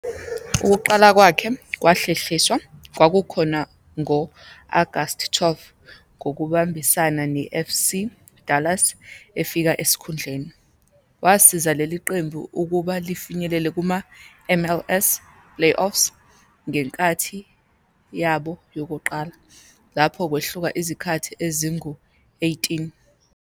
Ukuqala kwakhe kwahlehliswa, kwakhona ngo-Agasti 12, ngokubambisana ne-FC Dallas, efika esikhundleni. Wasiza leli qembu ukuba lifinyelele kuma-MLS Playoffs ngenkathi yabo yokuqala, lapho kwehluka izikhathi ezingu-18.